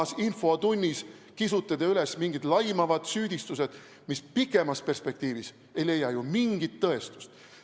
Igas infotunnis kisute te üles mingid laimavad süüdistused, mis pikemas perspektiivis ei leia ju mingit tõestust.